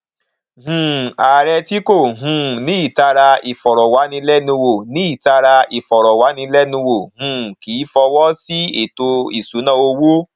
um ààrẹ tí kò um ní ìtara ìfọrọwánilẹnuwò ní ìtara ìfọrọwánilẹnuwò um kìí fọwọ sí ètò ìṣúnná owó